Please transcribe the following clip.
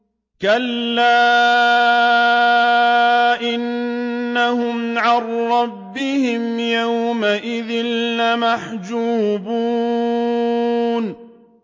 كَلَّا إِنَّهُمْ عَن رَّبِّهِمْ يَوْمَئِذٍ لَّمَحْجُوبُونَ